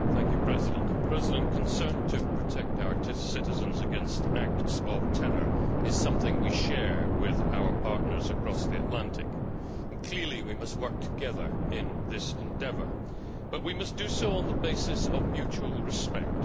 Mr President, concern for protecting our citizens against acts of terror is something we share with our partners across the Atlantic. Clearly, we must work together in this endeavour, but we must do so on the basis of mutual respect.